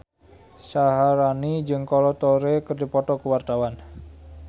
Syaharani jeung Kolo Taure keur dipoto ku wartawan